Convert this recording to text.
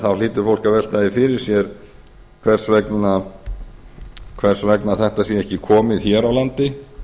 þá hlýtur fólk að velta því fyrir sér hvers vegna þetta sé ekki komið hér á landi